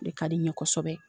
Ne ka di ɲɛ kosɛbɛ.